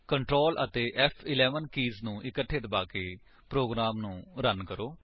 control ਅਤੇ ਫ਼11 keys ਨੂੰ ਇਕੱਠੇ ਦਬਾਕੇ ਪ੍ਰੋਗਰਾਮ ਨੂੰ ਰਨ ਕਰੋ